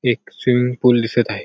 एक swimming pool दिसत आहे.